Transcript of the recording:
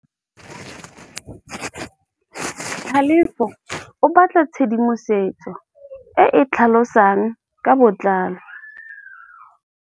Tlhalefô o batla tshedimosetsô e e tlhalosang ka botlalô.